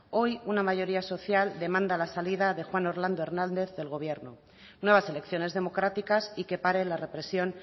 hoy una mayoría social demanda la salida de juan orlando hernández del gobierno nuevas elecciones democráticas y que pare la represión